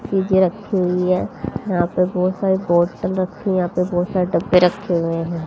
चीजे रखी हुई है यहां पे बहुत सारी बॉटल रखी हुई है यहां पे बहुत सारे डब्बे रखे हुए हैं।